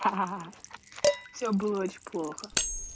ха-ха всё было очень плохо